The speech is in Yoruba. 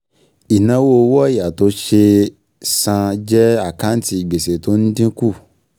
Ìnáwó um owó ọ̀yà tó ṣe é san um jẹ́ àkáǹtì gbèsè tó ń um dínkù